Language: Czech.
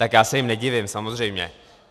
Tak já se jim nedivím, samozřejmě.